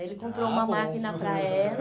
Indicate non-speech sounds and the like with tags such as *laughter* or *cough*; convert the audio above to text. Ah, bom. *laughs* Ele comprou uma máquina para ela.